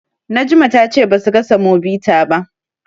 Najma ta ce basu ga Samobita ba.